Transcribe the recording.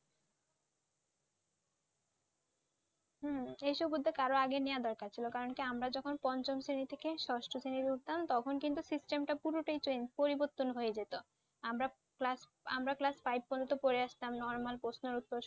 হ্যাঁ এইসব উদ্যোগ আরো আগে নেয়া দরকার ছিল কারণ কি আমরা যখন পঞ্চম শ্রেণী থেকে ষষ্ঠ শ্রেণীতে উঠতাম তখন কিন্তু System টা পুরোটাই Change পরিবর্তন হয়ে যেত। আমরা Class আমরা Class Five পর্যন্ত পড়ে আসতাম Normal প্রশ্নের উত্তর